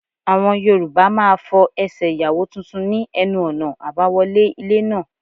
Àwọn Yorùbá máa fọ Ẹsẹ̀ Ìyàwó tuntun ní ẹnu ọ̀nà àbáwọlé ilé náà.